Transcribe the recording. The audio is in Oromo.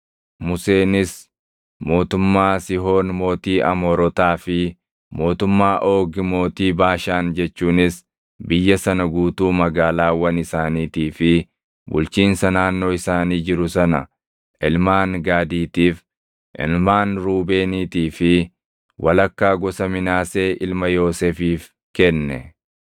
Museenis mootummaa Sihoon mootii Amoorotaa fi mootummaa Oogi mootii Baashaan jechuunis biyya sana guutuu magaalaawwan isaaniitii fi bulchiinsa naannoo isaanii jiru sana ilmaan Gaadiitiif, ilmaan Ruubeeniitii fi walakkaa gosa Minaasee ilma Yoosefiif kenne.